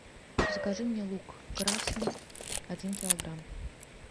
закажи мне лук красный один килограмм